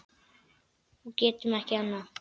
Og getum ekki annað.